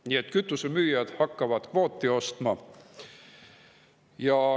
Nii et kütusemüüjad hakkavad kvooti ostma.